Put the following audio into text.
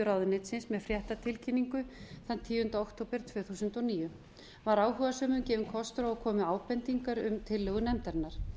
ráðuneytisins með fréttatilkynningu þann tíunda október tvö þúsund og níu var áhugasömum gefinn kostur á að koma með ábendingar um tillögu nefndarinnar